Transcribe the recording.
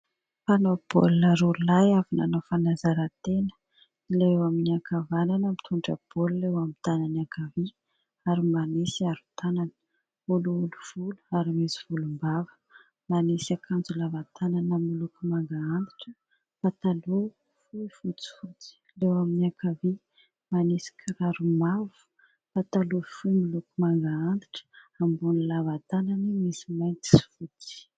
Mpanao baolina roa lahy avy nanao fanazaran-tena. Ilay eo amin'ny ankavanana mitondra baolina eo amin'ny tanany ankavia ary manisy aro-tanana. Olioly volo ary misy volombava, manisy akanjo lava tanana miloko manga antitra, mipataloha fohy fotsifotsy. Ilay eo amin'ny ankavia manisy kiraro mavo, pataloha fohy miloko manga antitra, ambonin'ny lava tanana misy mainty sy fotsy.